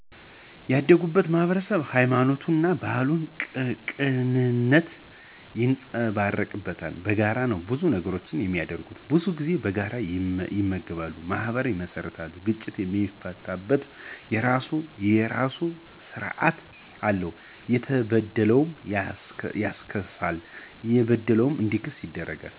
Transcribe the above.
ያደግኩት ማህበረሰብ ሀይማኖት፣ ባህልና ቅንነት ይንፀባረቅበታል። በጋራ ነው ብዙ ነገሮቹን የሚያደርገው። ብዙ ጊዜ በጋራ ይመገባ፣ ማህበር ይመሰርታል፤ ግጭትን የሚፈታበት የራሱ ስራት አለው። የተበደለን ያስክሳል፣ የበደለ እንዲክስ ይደረጋል።